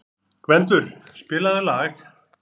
Gvendur, spilaðu lag.